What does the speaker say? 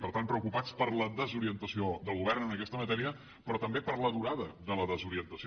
per tant preocupats per la desorientació del govern en aquesta matèria però també per la durada de la desorientació